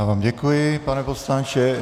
Já vám děkuji, pane poslanče.